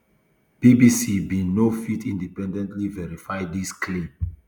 bbc bin no fit independently verify dis claims